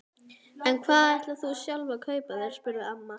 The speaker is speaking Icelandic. En hvað ætlar þú sjálf að kaupa þér? spurði amma.